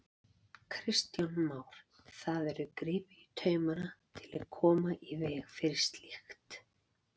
Kristján Már: Það verður gripið í taumana til að koma í veg fyrir slíkt?